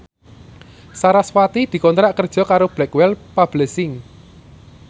sarasvati dikontrak kerja karo Blackwell Publishing